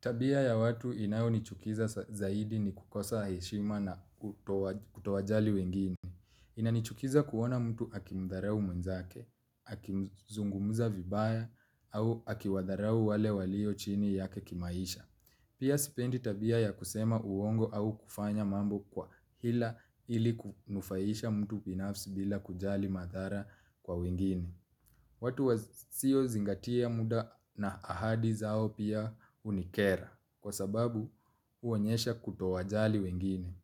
Tabia ya watu inayo nichukiza zaidi ni kukosa heshima na kutowajali wengine. Inanichukiza kuona mtu akimudharau mwenzake, akizungumuza vibaya, au akiwadharau wale walio chini yake kimaisha. Pia sipendi tabia ya kusema uongo au kufanya mambo kwa hila ili kunufaisha mtu binafsi bila kujali madhara kwa wengine. Watu wa sio zingatia muda na ahadi zao pia unikera. Kwa sababu uonyesha kutowajali wengine.